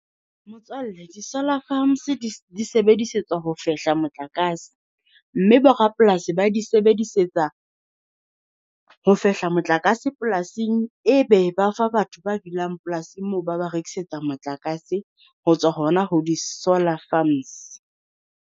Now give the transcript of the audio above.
Motswalle di-solar farms di di sebedisetswa ho fehla motlakase, mme borapolasi ba di sebedisetsa ho fehla motlakase polasing, e be ba fa batho ba dulang polasing moo ba ba rekisetsa motlakase ho tswa hona ho di-solar farms.